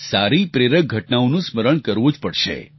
સારી પ્રેરક ઘટનાઓનું સ્મરણ કરવું જ પડશે